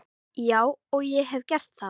Já og ég hef gert það.